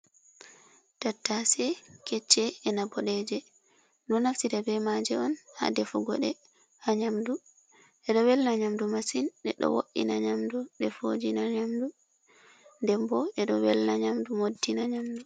Tattashe kecche e'na boɗeje. Ɗo naftira be maje on ha defugo ɗe ha nyamdu. Ɗeɗo welna nyamdu masin. Ɗeɗo wo’ina nyamdu, ɗe fojina nyamdu, denbo ɗedo welna nyamdu, moddina nyamdu.